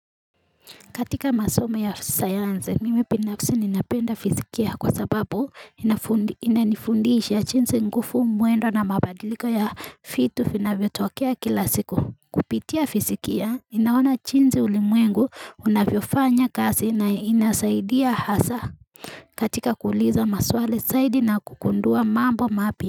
Katika masomo ya sayansi mimi binafsi ninapenda fizikia kwa sababu inanifundiisha jinsi nguvu mwendo na mabadiliko ya vitu vinavyotokea kila siku. Kupitia fizikia ninaona jinsi ulimwengu unavyofanya kazi na inasaidia hasa. Katika kuuliza maswali zaidi na kugundua mambo mapya.